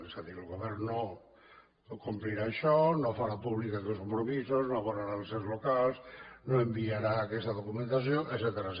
és a dir el govern no complirà això no farà públics aquests compromisos no abonarà als ens locals no enviarà aquesta documentació etcètera